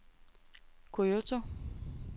Kyoto